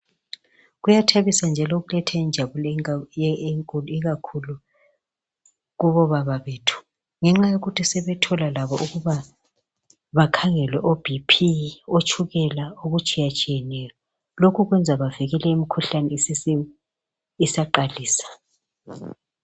Kuyathabisa njalo kuletha injabulo enkulu, ikakhulu kubobaba bethu. Ngenxa yokuthi sebethola labo ukuba bakhangele oBP, otshukela, okutshiyatshiyeneyo. Lokhu kwenza bavikele imikhuhlane isaqalisa.